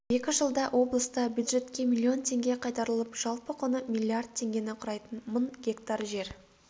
екі жылда облыста бюджетке миллион теңге қайтарылып жалпы құны миллиард теңгені құрайтын мың гектар жер